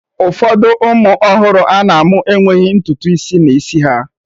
Ụfọdụ ụmụ ọhụrụ ana-amụ enweghị ntutu isi n'isi